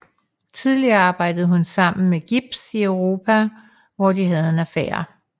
Tidligere arbejdede hun sammen med Gibbs i Europa og hvor de havde en affære